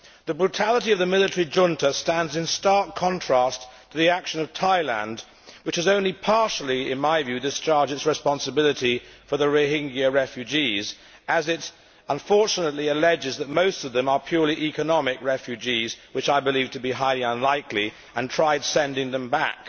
The brutality of the military junta stands in stark contrast to the action of Thailand, which has only partially, in my view, discharged its responsibility for the Rohingya refugees as it unfortunately alleges that most of them are purely economic refugees which I believe to be highly unlikely, and tried sending them back.